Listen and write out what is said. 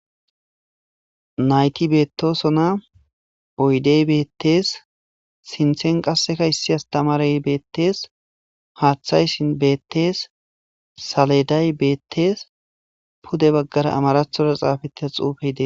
nayti beettoso na oydey beettees sinthen qasseka issi astamaray beettees haaththayssin beettees saleday beettees pude baggara amarathora xaafeta xuufe ide